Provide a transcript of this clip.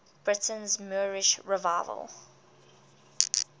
britain's moorish revival